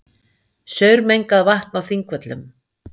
Saurmengað vatn á Þingvöllum